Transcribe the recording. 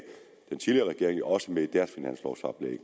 den tidligere regering jo også med